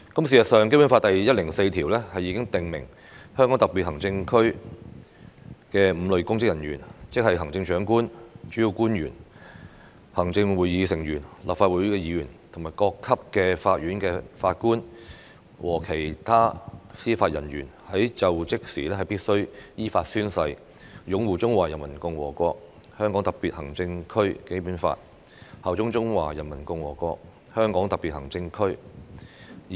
事實上，《基本法》第一百零四條已訂明，香港特別行政區的5類公職人員，即行政長官、主要官員、行政會議成員、立法會議員、各級法院法官和其他司法人員在就職時必須依法宣誓擁護《中華人民共和國香港特別行政區基本法》，效忠中華人民共和國香港特別行政區。